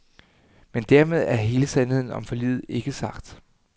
Men dermed er hele sandheden om forliget ikke sagt.